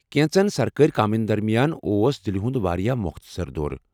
کینٛژن سرکٲرِ کامٮ۪ن درمیان اوس دلہ ہنٛد واریاہ مۄختصر دورٕ۔